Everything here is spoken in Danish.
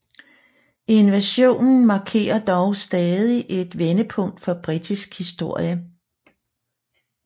Invasionen markerer dog stadig et vendepunkt for britisk historie